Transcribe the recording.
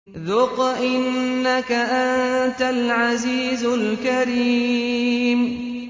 ذُقْ إِنَّكَ أَنتَ الْعَزِيزُ الْكَرِيمُ